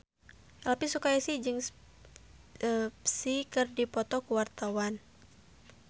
Elvi Sukaesih jeung Psy keur dipoto ku wartawan